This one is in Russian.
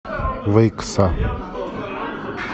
выкса